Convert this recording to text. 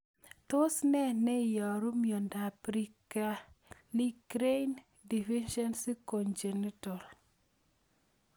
Tos nee neiaru miondop Prekallikrein deficiency, congenital